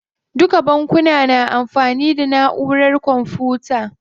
Duka bankuna na amfani da naʼurar kwamfuta.